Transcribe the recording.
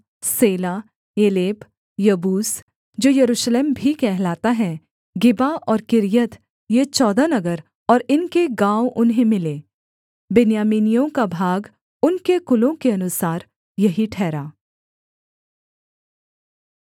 सेला Eleph Jebus जो Jerusalem भी कहलाता है गिबा और किर्यत ये चौदह नगर और इनके गाँव उन्हें मिले बिन्यामीनियों का भाग उनके कुलों के अनुसार यही ठहरा